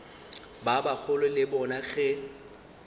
ba bagolo le bona ge